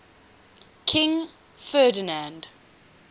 king ferdinand